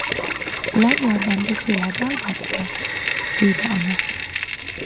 Ular yordamga keladi albatta”, deydi onasi.